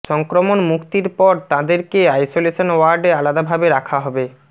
সংক্রমণ মুক্তির পর তাঁদেরকে আইসোলেশন ওয়ার্ডে আলাদাভাবে রাখা হবে